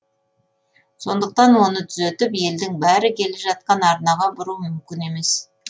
сондықтан оны түзетіп елдің бәрі келе жатқан арнаға бұру мүмкін емес